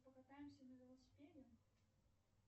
покатаемся на велосипеде